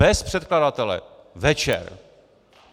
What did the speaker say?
Bez předkladatele, večer!